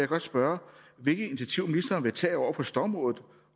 godt spørge hvilke initiativer ministeren vil tage over for stormrådet